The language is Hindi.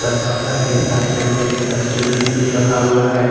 दरवाजा के साइड में एक डस्टबिन भी रखा हुआ है।